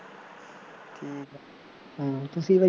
ਹੂੰ ਤੁਸੀਂ ਬਾਈ